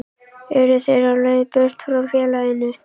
Eru þeir á leið burt frá félaginu?